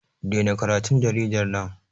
Dena karatun jaridar nan!